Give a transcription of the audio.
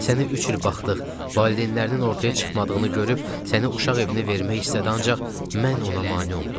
Sənə üç il baxdıq, valideynlərinin ortaya çıxmadığını görüb səni uşaq evinə vermək istədi, ancaq mən ona mane oldum.